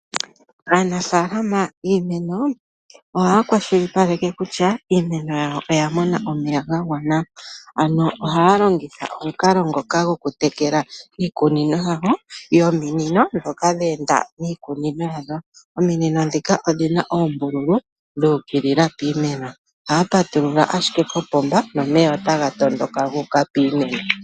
Aanafaalama yiimeno ohaya kwashilipaleke kutya iimeno yawo oya mona omeya ga gwana. Ano ohaya longitha omukalo ngoka gokutekela iikunino yawo nominino ndhoka dhe enda miikunino yawo. Ominino ndhika odhi na oombululu dhu ukilila piimeno. Ohaya patulula ashike kopomba nomeya otaga tondoka gu uka piimeno.